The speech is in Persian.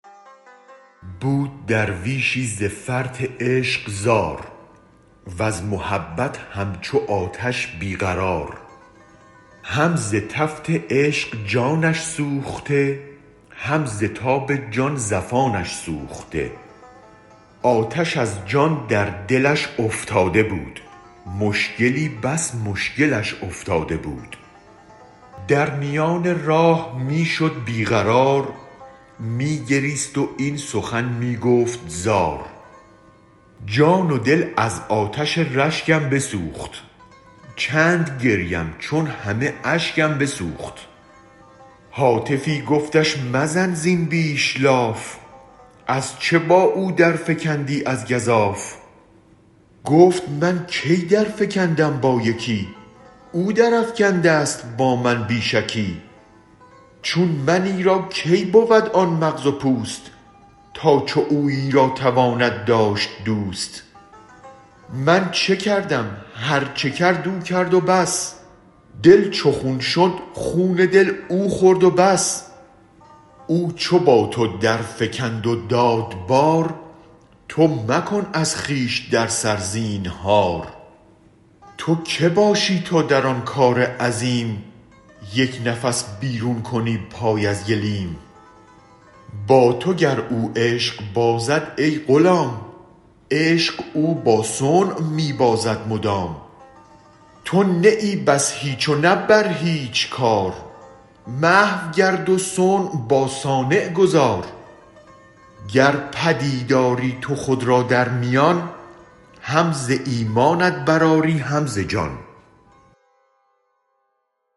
بود درویشی ز فرط عشق زار وز محبت همچو آتش بی قرار هم ز تفت عشق جانش سوخته هم ز تاب جان زفانش سوخته آتش از جان در دلش افتاده بود مشکلی بس مشکلش افتاده بود در میان راه می شد بی قرار می گریست و این سخن می گفت زار جان و دل از آتش رشکم بسوخت چند گریم چون همه اشکم بسوخت هاتفی گفتش مزن زین بیش لاف ازچه با او درفکندی از گزاف گفت من کی درفکندم با یکی او درافکندست با من بی شکی چون منی را کی بود آن مغز و پوست تا چو اویی را تواند داشت دوست من چه کردم هرچ کرد او کرد و بس دل چو خون شد خون دل او خورد و بس او چو با تو درفکند و داد بار تو مکن از خویش در سر زینهار تو که باشی تا در آن کار عظیم یک نفس بیرون کنی پای از گلیم با تو گر او عشق بازد ای غلام عشق او با صنع می بازد مدام تو نه ای بس هیچ و نه بر هیچ کار محو گرد وصنع با صانع گذار گر پدید آری تو خود را در میان هم ز ایمانت برآیی هم ز جان